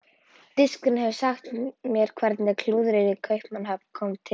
Danskurinn hefur sagt mér hvernig klúðrið í Kaupmannahöfn kom til.